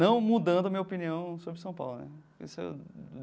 Não mudando a minha opinião sobre São Paulo né esse é.